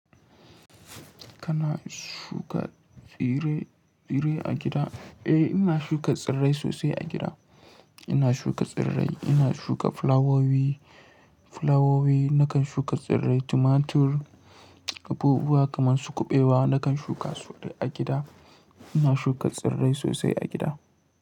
Kana shuka tsire-tsire a gida? Eh, ina shuka tsirrai sosai a gida. Ina shuka tsirrai, ina shuka flawowi, flawowi, nakan shuka tsirrai, tumatur, abubuwa kaman su kuɓewa nakan shuka su duk a gida. Ina shuka tsirrai sosai a gida.